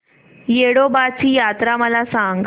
येडोबाची यात्रा मला सांग